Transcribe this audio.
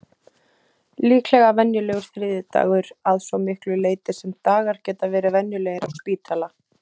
Líklega venjulegur þriðjudagur, að svo miklu leyti sem dagar geta verið venjulegir á spítala.